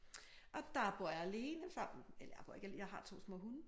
Og der bor jeg alene sammen eller jeg bor ikke af jeg har 2 små hunde